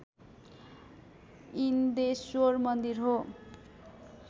इनद्रेश्वर मन्दिर हो